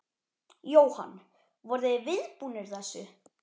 Jóhann: Voruð þið viðbúnir þessu?